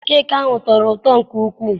Keeki ahụ tọrọ ụtọ nke ukwu.